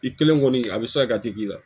I kelen kɔni a bɛ sa ka tigi la